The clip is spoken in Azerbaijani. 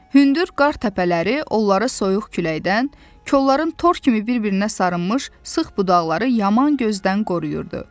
Hündür qar təpələri onları soyuq küləkdən, kolları tor kimi bir-birinə sarınmış sıx budaqları yaman gözdən qoruyurdu.